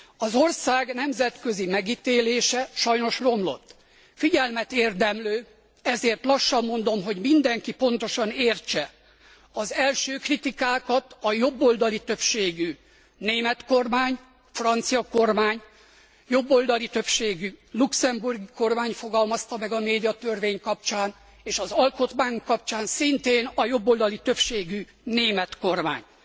Az ország nemzetközi megítélése sajnos romlott. Figyelmet érdemlő, ezért lassan mondom, hogy mindenki pontosan értse az első kritikákat a jobboldali többségű német kormány, francia kormány, jobboldali többségű luxemburgi kormány fogalmazta meg a médiatörvény kapcsán, és az alkotmány kapcsán szintén a jobboldali többségű német kormány